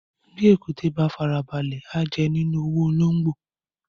Bì èkúté bá fara balẹ̀, a jẹ nínú owó ológbò.